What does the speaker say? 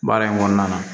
Baara in kɔnɔna na